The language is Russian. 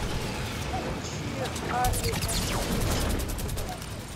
включи арли энд гри синий мотылек